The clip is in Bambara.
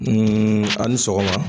ani sɔgɔma.